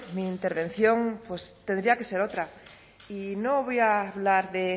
mi intervención pues tendría que ser otra y no voy a hablar de